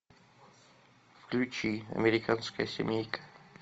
включи американская семейка